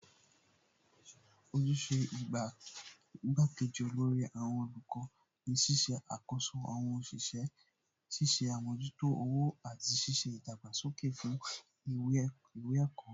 Ojúṣe igbá kejì olórí àwọn olùkọ́ ni ṣíṣe àkoso àwọn òṣìṣẹ́, ṣiṣẹ́ àmójútó owó àti ṣíṣe ìdàgbàsókè fún ìwé ẹ̀kọ́